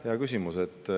Hea küsimus.